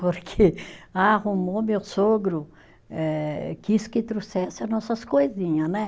Porque arrumou meu sogro, eh quis que trouxesse as nossas coisinha, né?